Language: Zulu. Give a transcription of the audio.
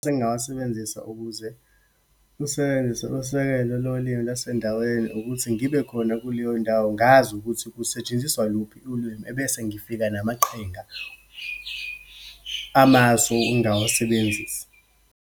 Engingawasebenzisa ukuze usebenzise usekelo lolimi lasendaweni, ukuthi ngibe khona kuleyo ndawo, ngazi ukuthi kusetshenziswa luphi ulwimi, ebese ngifika namaqhinga, amasu engawasebenzisa.